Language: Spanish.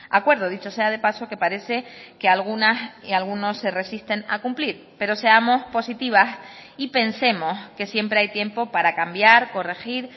acuerdo dicho sea de paso que parece que algunas y algunos se resisten a cumplir pero seamos positivas y pensemos que siempre hay tiempo para cambiar corregir